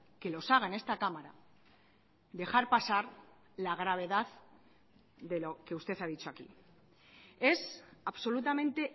que los haga en esta cámara dejar pasar la gravedad de lo que usted ha dicho aquí es absolutamente